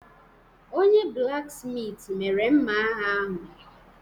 Onye-blaksmitị mere mma agha ahụ.